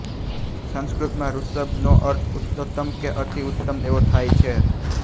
સંસ્કૃતમાં ઋષભ નો અર્થ ઉત્તમોત્તમ કે અતિ ઉત્તમ એવો થાય છે